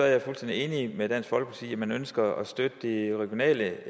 jeg fuldstændig enig med dansk folkeparti man ønsker at støtte de regionale